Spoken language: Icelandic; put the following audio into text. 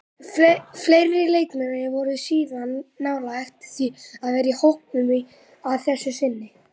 Fleiri leikmenn voru síðan nálægt því að vera í hópnum að þessu sinni.